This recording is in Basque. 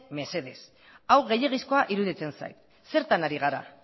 mesedez hau gehiegizkoa iruditzen zait zertan ari gara